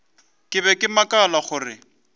ke be ke makala gore